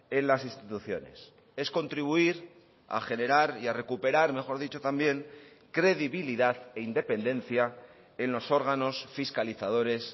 en las instituciones es contribuir a generar y a recuperar mejor dicho también credibilidad e independencia en los órganos fiscalizadores